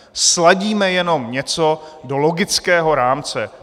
Sladíme jenom něco do logického rámce.